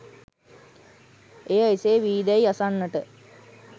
එය එසේ වී දැයි අසන්නට